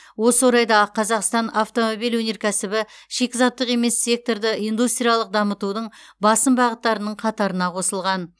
осы орайда а қазақстандық автомобиль өнеркәсібі шикізаттық емес секторды индустриялық дамытудың басым бағыттарының қатарына қосылған